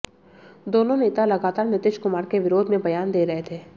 दोनों नेता लगातार नीतीश कुमार के विरोध में बयान दे रहे थे